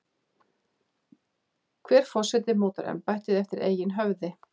Hver forseti mótar embættið eftir eigin höfði.